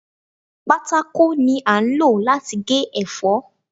Pátákó ni a ń lò láti gé ẹ̀fọ́.